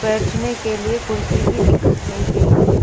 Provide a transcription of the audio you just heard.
बैठने के लिए कुर्सी भी दिखाई गई हैं।